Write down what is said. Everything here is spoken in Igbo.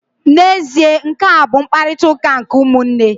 N'ezie, nkea bụ mkparịtaụka nke ụmụnne.